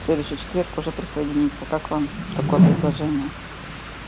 в следующий четверг уже присоединиться как вам такое предложение